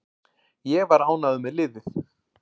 Ég var ánægður með liðið.